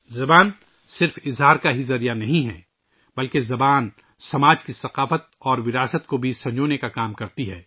زبان نہ صرف اظہار کا ذریعہ ہے بلکہ زبان معاشرے کی ثقافت اور ورثے کو محفوظ کرنے کا کام بھی کرتی ہے